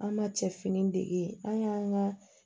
An ma cɛfini dege an y'an ka